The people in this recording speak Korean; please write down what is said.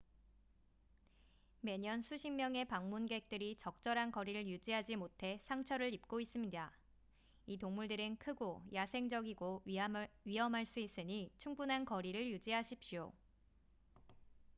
매년 수십 명의 방문객들이 적절한 거리를 유지하지 못해 상처를 입고 있습니다 이 동물들은 크고 야생적이고 위험할 수 있으니 충분한 거리를 유지하십시오